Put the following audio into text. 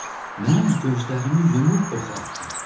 Mən gözlərimi yumub oxu atdım.